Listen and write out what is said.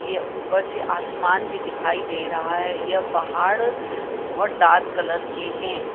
ये ऊपर से आसमान भी दिखाई दे रहा है। यह बाहाड बहोत डार्क कलर के हैं।